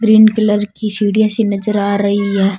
Green colour की सीढिया सी नजर आ रही है।